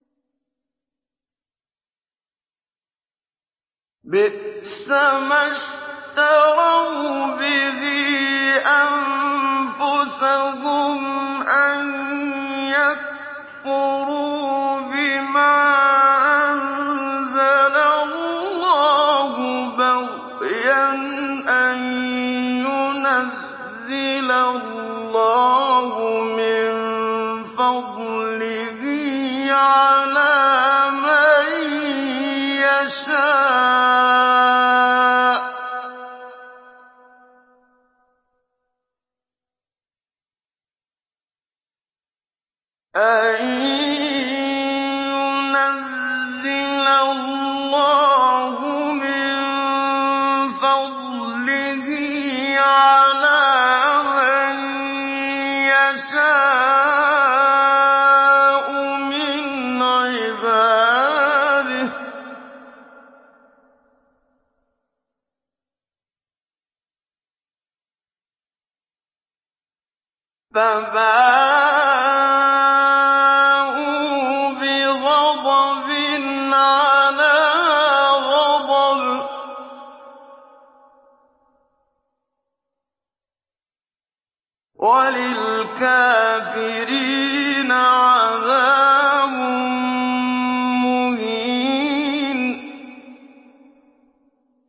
بِئْسَمَا اشْتَرَوْا بِهِ أَنفُسَهُمْ أَن يَكْفُرُوا بِمَا أَنزَلَ اللَّهُ بَغْيًا أَن يُنَزِّلَ اللَّهُ مِن فَضْلِهِ عَلَىٰ مَن يَشَاءُ مِنْ عِبَادِهِ ۖ فَبَاءُوا بِغَضَبٍ عَلَىٰ غَضَبٍ ۚ وَلِلْكَافِرِينَ عَذَابٌ مُّهِينٌ